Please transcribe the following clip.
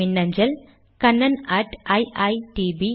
மின்னஞ்சல் kannaniitbacin